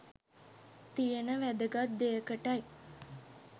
තියෙන වැදගත් දෙයකටයි.